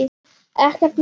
Ekkert mál.